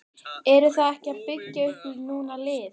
Eruð þið ekki að byggja upp núna lið?